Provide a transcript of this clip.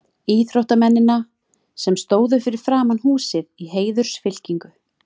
íþróttamennina, sem stóðu fyrir framan húsið í heiðursfylkingu.